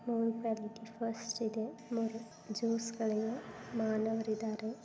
ಇಲ್ಲಿ ಫುಲ್ ರಷ್ಟಿದೆ ಜ್ಯೂಸ್ ಗಳನ್ನೂ ಮಾಡುತ್ತಿದ್ದಾರೆ.